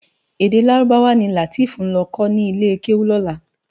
Èdè Lárúbáwá ni Lateef nlò kò ni ilé kéwú lòlá.